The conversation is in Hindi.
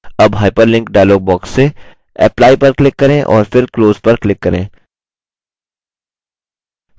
अब hyperlink dialog box से apply पर click करें और फिर close पर click करें